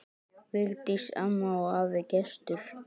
Vigdís amma og afi Gestur.